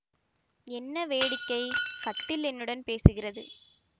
என்ன வேடிக்கை கட்டில் என்னுடன் பேசுகிறது